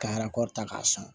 Ka ta k'a sɔn